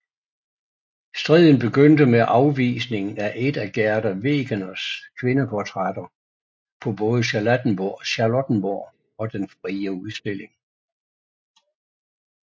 Striden begyndte med afvisningen af et af Gerda Wegeners kvindeportrætter på både Charlottenborg og Den Frie Udstilling